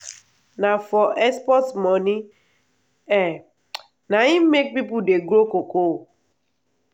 na for export money um na im make people dey grow cocoa.